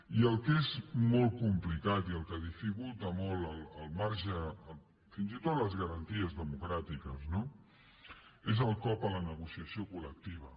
i el que és molt complicat i el que dificulta molt al marge fins i tot les garanties democràtiques no és el cop a la negociació col·lectiva